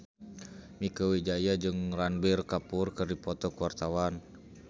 Mieke Wijaya jeung Ranbir Kapoor keur dipoto ku wartawan